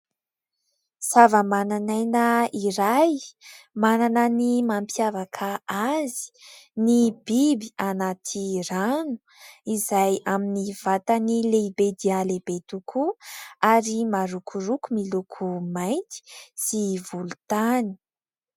Zavamananaina iray manana ny mampiavaka azy ny biby anaty rano izay amin'ny vatany lehibe dia lehibe tokoa ary marokoroko miloko mainty sy volontany.